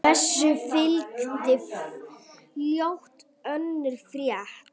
Þessu fylgdi fljótt önnur frétt